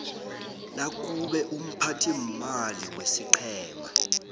nakube umphathiimali wesiqhema